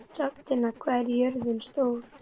Hrafntinna, hvað er jörðin stór?